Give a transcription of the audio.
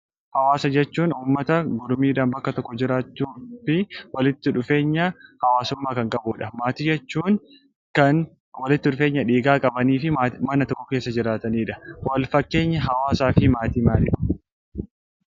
Hawaasa jechuun uummata mormiidhaanbakka tokko jiraachuu fi walitti dhufeenya hawaasummaa kan qabudha. Maatii jechuun kan walitti dhufeenya dhiigaa qaban mana tokko keessa jiraatan jechuudha. Fakkeenyi hawaasaa fi maatii. maalidha?